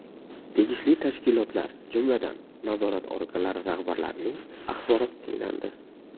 Tegishli tashkilotlar, jumladan, nazorat organlari rahbarlarining axboroti tinglandi.